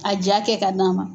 A jaa kɛ ka d'an ma.